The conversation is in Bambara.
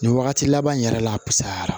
Nin wagati laban in yɛrɛ la a sayara